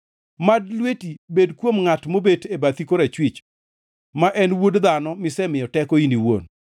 Mad lweti bed kuom ngʼat mobet e bathi korachwich, ma en wuod dhano misemiyo teko in iwuon.